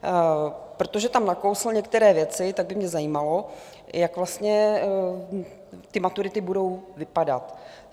Protože tam nakousl některé věci, tak by mě zajímalo, jak vlastně ty maturity budou vypadat.